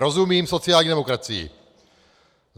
Rozumím sociální demokracii.